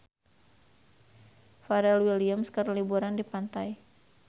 Pharrell Williams keur liburan di pantai